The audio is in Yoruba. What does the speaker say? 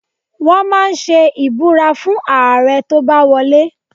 Wọ́n máa ń ṣe ìbúra fún Ààrẹ tó bá wọ lé.